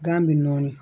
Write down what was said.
Gan bɛ nɔɔni